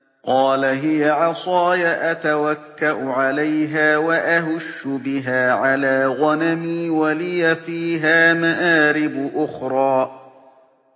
قَالَ هِيَ عَصَايَ أَتَوَكَّأُ عَلَيْهَا وَأَهُشُّ بِهَا عَلَىٰ غَنَمِي وَلِيَ فِيهَا مَآرِبُ أُخْرَىٰ